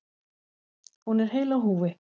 Hún er heil á húfi.